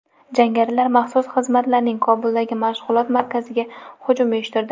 Jangarilar maxsus xizmatlarning Kobuldagi mashg‘ulot markaziga hujum uyushtirdi.